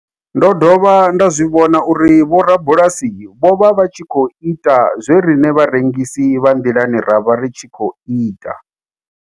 Ndo dovha nda zwi vhona uri vhorabulasi vho vha vha tshi khou ita zwe riṋe vharengisi vha nḓilani ra vha ri tshi khou ita.